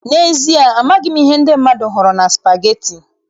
N'ezie, amaghị m ihe ndị mmadụ hụrụ na spageti.